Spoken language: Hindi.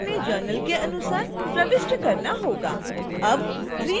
तो आपको अपने journal के अनुसार प्रविष्ट करना होगा